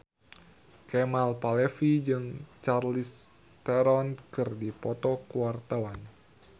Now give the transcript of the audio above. Kemal Palevi jeung Charlize Theron keur dipoto ku wartawan